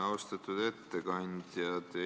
Austatud ettekandja!